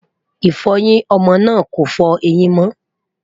ifoyin ọmọ náà kò fọ ẹyìn mo